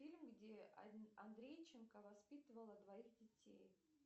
фильм где андрейченко воспитывала двоих детей